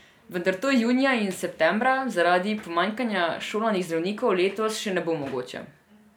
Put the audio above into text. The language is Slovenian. Vendar to junija in septembra zaradi pomanjkanja šolanih zdravnikov letos še ne bo mogoče.